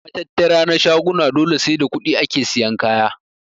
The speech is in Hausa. Matattara na shaguna dole sai da kuɗi ake siyan kaya.